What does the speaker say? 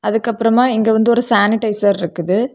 அதுக்கு அப்புறமா இங்க வந்து ஒரு சானிடைசர் இருக்குது.